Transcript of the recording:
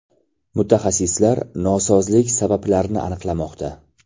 Mutaxassislar nosozlik sabablarini aniqlamoqda.